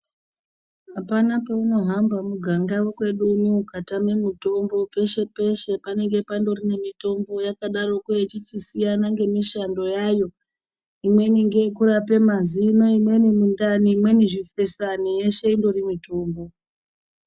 Apana peunohamba muganga yekwedu uno ukatame mutombo peshe peshe panenge pandori ne mitombo yakadaroko ichichi siyana ngemishando yayo imweni ngekurape mazino imweni mundani imweni zvifesani yeshe indori murombo.